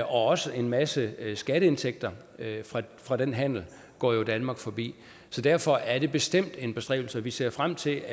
også en masse skatteindtægter fra den handel går jo danmark forbi så derfor er det bestemt en bestræbelse og vi ser frem til